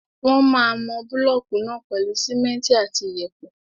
Wọ́n máa mọ búlọ̀kù náà pèlú simẹ́ntì àti iyẹ̀pẹ̀.